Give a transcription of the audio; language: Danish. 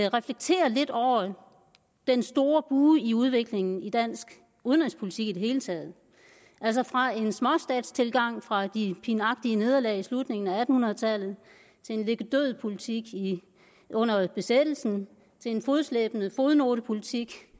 reflektere lidt over den store bue i udviklingen i dansk udenrigspolitik i det hele taget altså fra en småstatstilgang fra de pinagtige nederlag i slutningen af atten hundrede tallet til en ligge død politik under besættelsen til en fodslæbende fodnotepolitik